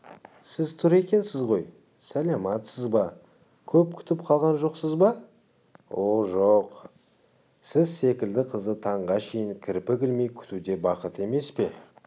сіз тұр екенсіз ғой сәлематсыз ба көп күтіп қалған жоқсыз ба о жоқ сіз секілді қызды таңға шейін кірпік ілмей күту де бақыт емес пе